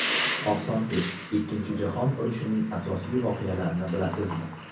Oson test: Ikkinchi jahon urushining asosiy voqealarini bilasizmi?.